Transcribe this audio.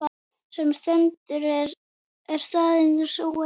Sem stendur er staðan snúin.